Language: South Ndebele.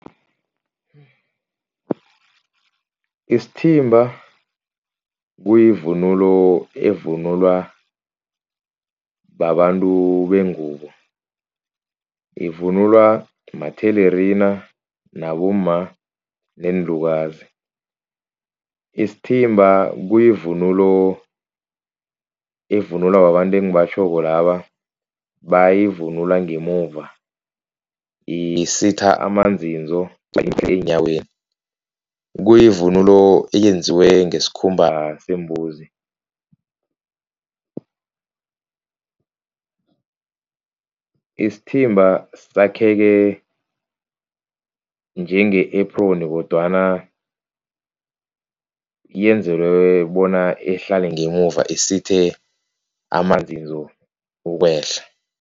Isithimba kuyivunulo evunulwa babantu bengubo, ivunulwa mathelerina nabomma neenlukazi. Isithimba kuyivunulo evunulwa babantu engibatjhoko laba bayivunula ngemuva, isitha amanzinzo eenyaweni. Kuyivunulo eyenziwe ngesikhumba sembuzi. Isithimba sakheke njenge-apron kodwana yenzelwe bona ihlale ngemuva isithe amanzinzo ukwehla.